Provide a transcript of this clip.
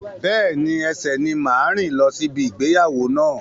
Bẹ́ẹ̀ni, ẹsẹ ni n máa rìn lọ si ibi ìgbéyàwó náà.